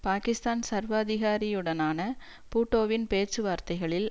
பாக்கிஸ்தான் சர்வாதிகாரியுடனான பூட்டோவின் பேச்சுவார்த்தைகளில்